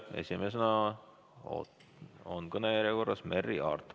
Esimesena on kõnejärjekorras Merry Aart.